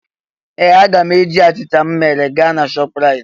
Ee! Aga m eji achịcha m mere gaa na Shọpraịt.